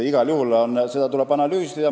Igal juhul tuleb seda analüüsida.